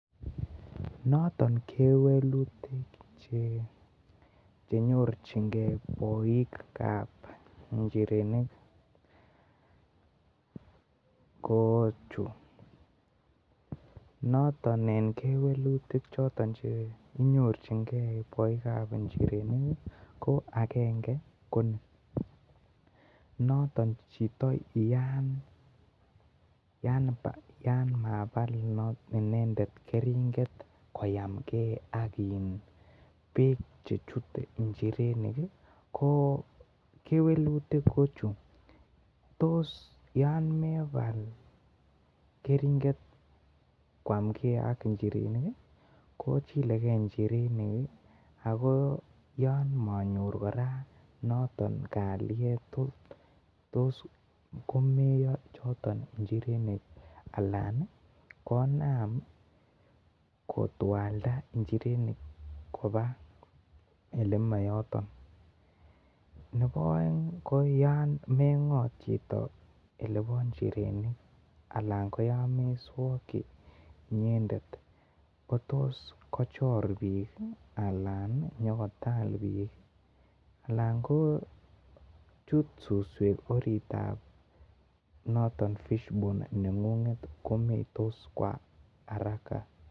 Noton kewelutik chenyorchin key boik kab njirenik ko chu noton en kewelutik choton chekinyorchin key bik kab njirenik ko agengei ko ni noton chito yan mabal inendet keringet koyamgei ak bek chechute njirenik ko kewelutuk ko chu tos yan mebal keringet koamgei ak njirenik ko chilegeii njirenik ako yon monyor kora noton kaliet tos komeyo choton njirenik alan konam kotwalda njirenik elemoyoton nobo oengelebo njirenik ko yon meswoki aln tos kochor bik alan nyokotal bik alan ko chut suswek orit tab noton fish pond nengunget komeittos kwa araka